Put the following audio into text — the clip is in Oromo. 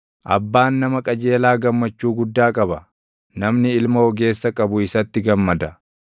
Abbaan nama qajeelaa gammachuu guddaa qaba; namni ilma ogeessa qabu isatti gammada.